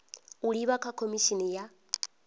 u livha kha khomishini ya